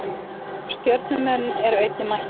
Stjörnumenn eru einnig mættir.